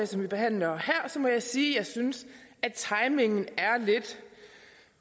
som vi behandler her må jeg sige at jeg synes at timingen